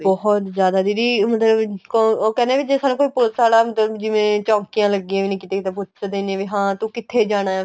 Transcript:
ਬਹੁਤ ਜਿਆਦਾ ਦੀਦੀ ਮਤਲਬ ਉਹ ਕਹਿੰਦੇ ਏ ਵੀ ਜੇ ਸਾਡੇ ਕੋਲ police ਵਾਲਾ ਆਂਦਾ ਹੁੰਦਾ ਜਿਵੇਂ ਚੋੰਕੀਆਂ ਲੱਗੀਆਂ ਹੋਣੀ ਕਿੱਥੇ ਕਿੱਥੇ ਪੁੱਛਦੇ ਨੇ ਵੀ ਹਾਂ ਤੂੰ ਕਿੱਥੇ ਜਾਣਾ